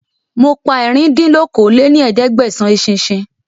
Mo pa ẹ̀rin dín ní okòó-lé-ní-ẹ̀ẹ́dẹ́gbẹ́sán eṣinṣin